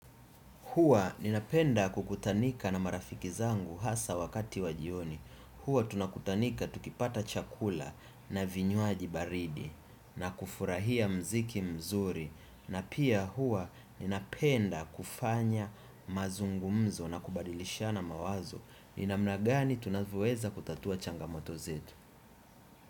Hua ninapenda kukutanika na marafiki zangu hasa wakati wajioni. Hua tunakutanika tukipata chakula na vinywaji baridi na kufurahia muziki mzuri. Na pia hua ninapenda kufanya mazungumzo na kubadilishana mawazo. Ni namna gani tunavyoweza kutatua changamoto zetu.